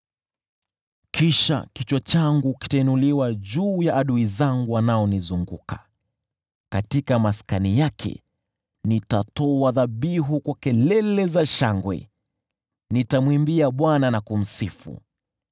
Kisha kichwa changu kitainuliwa juu ya adui zangu wanaonizunguka. Katika maskani yake nitatoa dhabihu kwa kelele za shangwe; nitamwimbia Bwana na kumsifu.